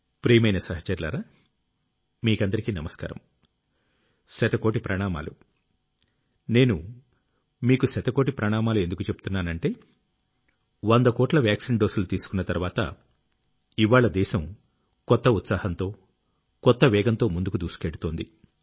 ప్రియమైన సహచరులారా మీకందరికీ నమస్కారం | శతకోటి ప్రణామాలు | నేను మీకు శతకోటి ప్రణామాలు ఎందుకు చెబుతున్నానంటే వంద కోట్ల వాక్సీన్ డోసులు తీసుకున్న తర్వాత ఇవ్వాళ్ల దేశం కొత్త ఉత్సహంతో కొత్త వేగంతో ముందుకు దూసుకెళ్తోంది